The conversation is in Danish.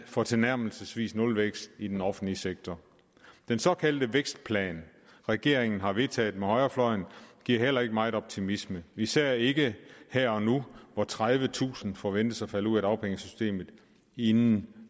for tilnærmelsesvis nulvækst i den offentlige sektor den såkaldte vækstplan regeringen har vedtaget med højrefløjen giver heller ikke meget optimisme især ikke her og nu hvor tredivetusind forventes at falde ud af dagpengesystemet inden den